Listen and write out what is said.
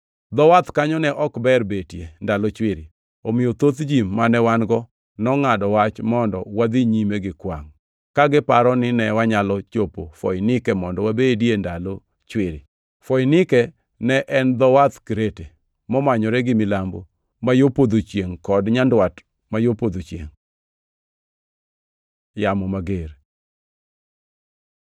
Dho wath kanyo ne ok ber betie ndalo chwiri, omiyo thoth ji mane wan-go nongʼado wach mondo wadhi nyime gi kwangʼ, ka giparo ni ne wanyalo chopo Foinike mondo wabedie ndalo chwiri. Foinike ne en dho wadh Krete, momanyore gi milambo ma yo podho chiengʼ kod nyandwat ma yo podho chiengʼ. Yamo mager